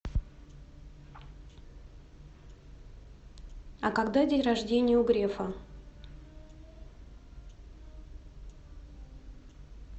а когда день рождение у грефа